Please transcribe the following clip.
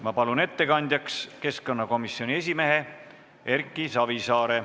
Ma palun ettekandjaks keskkonnakomisjoni esimehe Erki Savisaare.